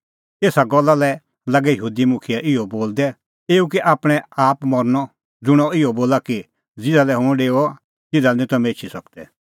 एसा गल्ला लै लागै यहूदी मुखियै इहअ बोलदै एऊ कै आपणैं आप मरनअ ज़ुंण अह इहअ बोला कि ज़िधा लै हुंह डेओआ तिधा लै निं तम्हैं एछी सकदै